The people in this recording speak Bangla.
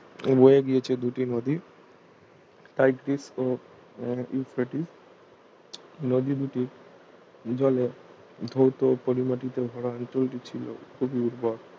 বয়ে গিয়েছে দুটি নদী টাইগ্রিস ও ইউফ্রেটিস নদি দুটি জলে ধৌত ও পলিমাটিতে ভরা অঞ্চলটি ছিল খুবই উর্বর